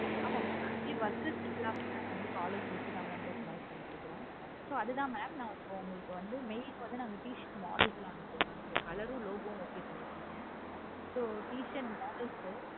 ஆமா mam actually workers எல்லாருமே நாங்க வந்து காலர்ஸ் வச்சி தான் பண்ணி கொடுக்குறோம். okay okay mam so அது தான் mam உங்களுக்கு mails க்கு வந்து t-shirt models எல்லாமே அனுப்புவோம் mam color, logo லாம் okay பண்ணிருக்கீங்க so t-shirt nidels